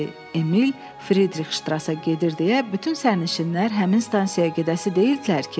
Emil Fridrix ştrasa gedir deyə bütün sərnişinlər həmin stansiyaya gedəsi deyildilər ki?